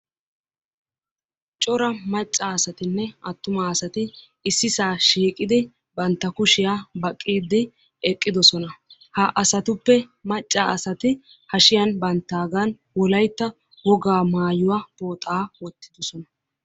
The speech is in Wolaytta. Cora maccasatinne attumasati issisa shiiqidi bantta kushiyaa baqiide eqqidoosona. Ha asatuppe macca asati hashshiyaan baagan Wolaytta woga maayyuwa pooxa wottidoosona.